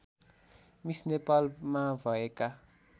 miss नेपालमा भएका